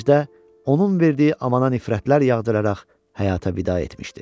İkinci də, onun verdiyi amana nifrətlər yağdıraraq həyata vida etmişdi.